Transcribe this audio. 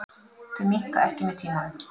Þau minnka ekki með tímanum.